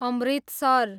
Amritsar